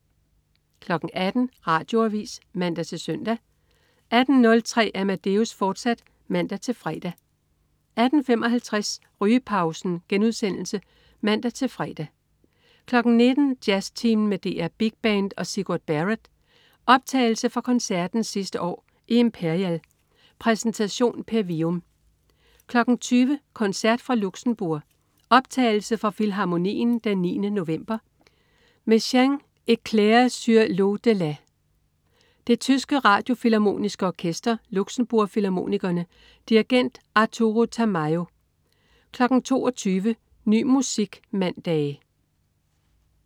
18.00 Radioavis (man-søn) 18.03 Amadeus, fortsat (man-fre) 18.55 Rygepausen* (man-fre) 19.00 Jazztimen med DR Big Band og Sigurd Barrett. Optagelse fra koncerten sidste år i Imperial. Præsentation: Per Wium 20.00 Koncert fra Luxembourg. Optagelse fra Filharmonien den 9. november. Messiaen: Eclairs sur l'au-delà. Det tyske Radiofilharmoniske Orkester. Luxembourg Filharmonikerne. Dirigent: Arturo Tamayo 22.00 Ny musik mandage